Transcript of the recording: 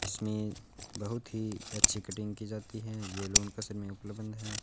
इसमें बहुत ही अच्छी कटिंग की जाती है ये बंद है।